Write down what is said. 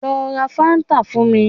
Lọ ra fáńtà fún mi